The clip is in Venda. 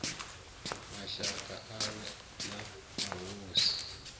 mashaka awe na mahosi hu